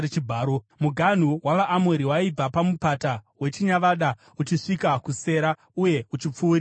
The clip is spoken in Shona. Muganhu wavaAmori waibva paMupata weChinyavada uchisvika kuSera uye uchipfuurira mberi.